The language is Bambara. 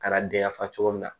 Ka na den ya fa cogo min na